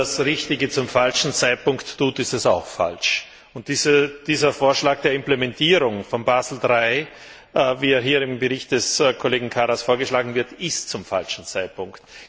Wenn man das Richtige zum falschen Zeitpunkt tut, ist es auch falsch. Dieser Vorschlag der Implementierung von Basel III, wie er hier im Bericht des Kollegen Karas vorgeschlagen wird, kommt zum falschen Zeitpunkt.